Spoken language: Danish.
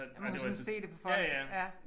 Og man kunne sådan se det på folk ja